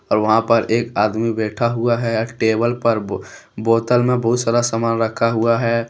और वहां पे एक आदमी बैठा हुआ है टेबल पर बोतल में बहुत सारा सामान रखा हुआ है।